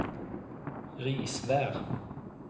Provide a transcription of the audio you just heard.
Risvær